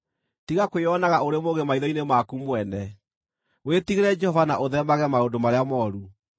Tiga kwĩonaga ũrĩ mũũgĩ maitho-inĩ maku mwene; wĩtigĩre Jehova na ũtheemage maũndũ marĩa mooru.